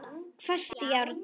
Hvasst járn.